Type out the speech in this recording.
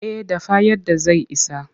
Eh a dafa yadda zai isa.